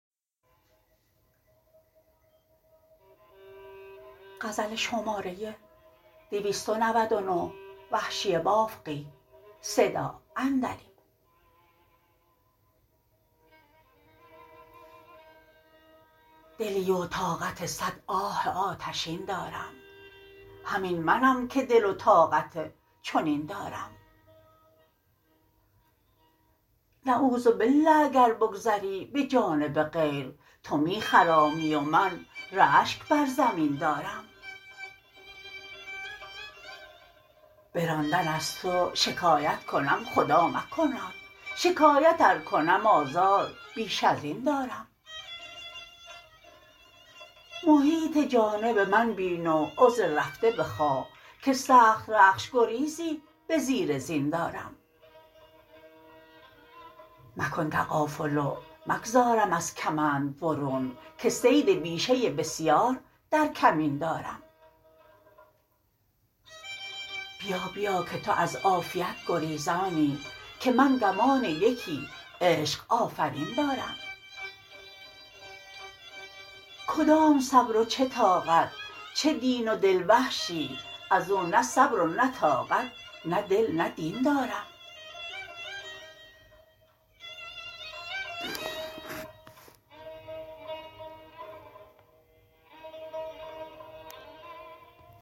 دلی و طاقت سد آه آتشین دارم همین منم که دل و طاقت چنین دارم نعوذباله اگر بگذری به جانب غیر تو می خرامی و من رشک بر زمین دارم به راندن از تو شکایت کنم خدا مکناد شکایت ار کنم آزار بیش ازین دارم محیط جانب من بین و عذر رفته بخواه که سخت رخش گریزی به زیر زین دارم مکن تغافل و مگذارم از کمند برون که صید بیشه بسیار در کمین دارم بیا بیا که تو از عافیت گریزانی که من گمان یکی عشق آفرین دارم کدام صبر و چه طاقت چه دین و دل وحشی ازو نه صبر و نه طاقت نه دل نه دین دارم